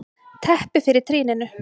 Teppi fyrir trýninu.